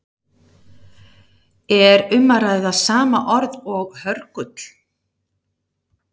Er um að ræða sama orð og hörgull?